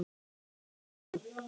Uppi í